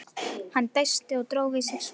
Hann dæsti og dró við sig svarið.